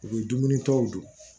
U bɛ dumuni tɔw dun